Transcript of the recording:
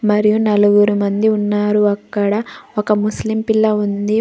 మరియు నలుగురు మంది ఉన్నారు అక్కడ ఒక ముస్లిం పిల్ల ఉంది.